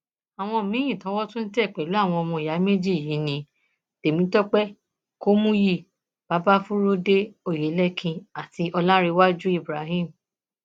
àwọn míín towó tún tẹ pẹlú àwọn ọmọ ìyá méjì yìí ní temitope kọmúyí babafurudé oyelekin àti ọlárèwájú ibrahim